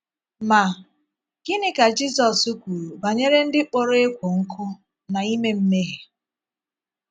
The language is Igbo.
Ma, gịnị ka Jizọs kwuru banyere ndị kpọrọ ékwò nkụ̀ na -ime mmehie?